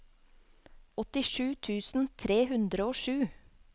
åttisju tusen tre hundre og sju